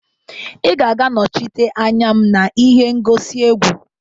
Ị ga-aga nọchite anya m na ihe ngosi egwu